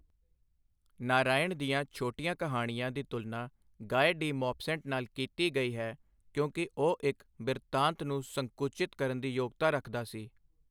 ਨਾਰਾਇਣ ਦੀਆਂ ਛੋਟੀਆਂ ਕਹਾਣੀਆਂ ਦੀ ਤੁਲਨਾ ਗਾਏ ਡੀ ਮੌਪਸੈਂਟ ਨਾਲ ਕੀਤੀ ਗਈ ਹੈ ਕਿਉਂਕਿ ਉਹ ਇੱਕ ਬਿਰਤਾਂਤ ਨੂੰ ਸੰਕੁਚਿਤ ਕਰਨ ਦੀ ਯੋਗਤਾ ਰੱਖਦਾ ਸੀ।